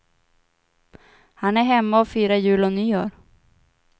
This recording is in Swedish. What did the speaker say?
Han är hemma och firar jul och nyår.